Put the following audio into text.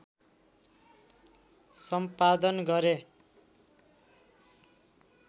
सम्पादन गरे